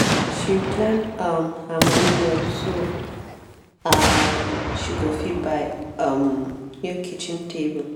she plan um her money well so um she go fit buy um new kitchen table.